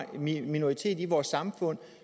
minoritet i vores samfund